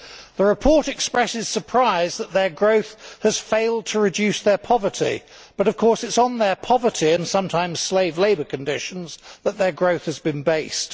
The report expresses surprise that their growth has failed to reduce their poverty, but of course it is on their poverty and sometimes slave labour conditions that their growth has been based.